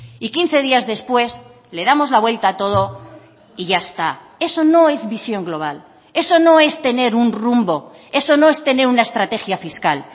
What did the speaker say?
y quince días después le damos la vuelta a todo y ya está eso no es visión global eso no es tener un rumbo eso no es tener una estrategia fiscal